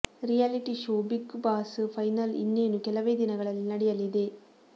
reality show Bigg Boss final ಇನ್ನೇನು ಕೆಲವೇ ದಿನಗಳಲ್ಲಿ ನಡೆಯಲಿದೆ